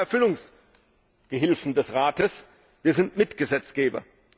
Wir sind keine Erfüllungsgehilfen des Rates, wir sind Mitgesetzgeber!